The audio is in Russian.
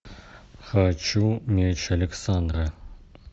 хочу меч александра